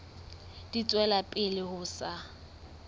di tswela pele ho sa